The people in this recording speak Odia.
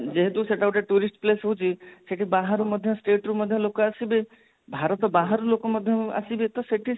ଯେହେତୁ ସେଟା ଗୋଟେ tourist place ହଉଛି ସେଠି ବାହାରୁ ମଧ୍ୟ state ରୁ ମଧ୍ୟ ଲୋକ ଆସିବେ ଭାରତ ବାହାରୁ ଲୋକ ମଧ୍ୟ ଆସିବେ ତ ସେଠି ସେମାନେ